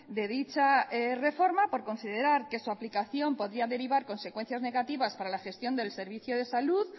de dicha reforma por considerar que su aplicación podría derivar consecuencias negativas para la gestión del servicio de salud